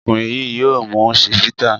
Ọkùnrin yìí yóò mu Chivita.